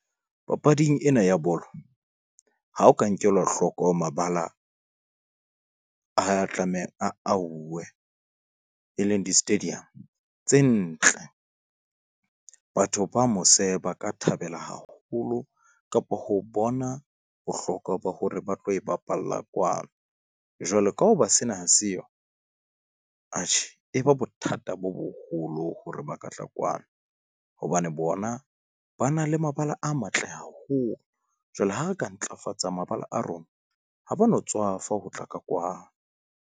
Papading ena ya bolo, ha o ka nkela hloko mabala a tlameha a auwe, e leng di-stadium tse ntle. Batho ba mose ba ka thabela haholo kapa ho bona bohlokwa ba hore ba tlo e bapalla kwano. Jwalo ka hoba sena ha seyo atjhe e ba bothata bo boholo hore ba katla kwano, hobane bona ba na le mabala a matle haholo. Jwale ha re ka ntlafatsa mabala a rona, ha ba no tswafa ho tla ka kwano.